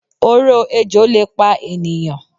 Oró ejò lè pa ènìyàn